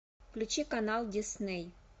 включи канал дисней